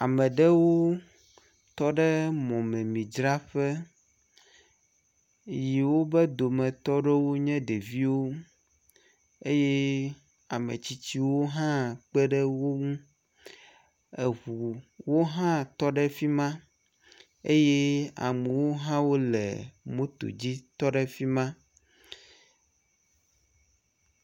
Ame ɖewo tɔ ɖe mɔmemidzraƒe eye wobe dometɔ ɖewo nye ɖeviwo eye ame tsitsiwo hã kpe ɖe wo ŋu. Eŋuwo hã tɔ ɖe fi ma eye amewo hã wole moto dzi tɔ ɖe fi ma.